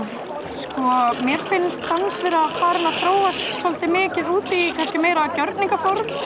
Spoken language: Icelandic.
sko mér finnst dans vera að þróast svolítið mikið út í kannski meira gjörningaform